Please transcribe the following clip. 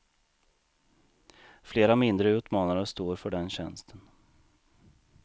Flera mindre utmanare står för den tjänsten.